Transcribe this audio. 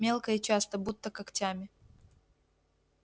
мелко и часто будто когтями